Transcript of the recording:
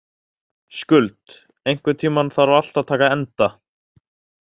Skuld, einhvern tímann þarf allt að taka enda.